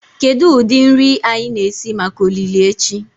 Kedu ụdị nri anyị na-esi maka olili echi?